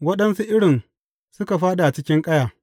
Waɗansu irin suka fāɗi a cikin ƙaya.